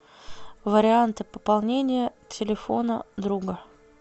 варианты пополнения телефона друга